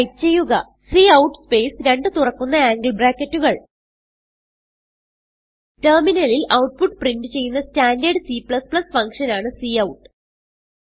type ചെയ്യുക cout space രണ്ട് തുറക്കുന്ന ആംഗിൾ ബ്രാക്കറ്റുകൾ ടെർമിനലിൽ ഔട്ട്പുട്ട് പ്രിന്റ് ചെയ്യുന്ന സ്റ്റാൻഡർഡ് C ഫങ്ഷൻ ആണ് കൌട്ട്